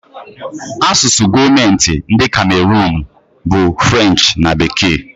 Asụsụ gọọmentị nke Kamerunu bụ French na Bekee